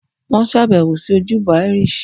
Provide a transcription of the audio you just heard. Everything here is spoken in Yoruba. Wọ́n ṣèbẹ̀wò sí ojúbọ Irish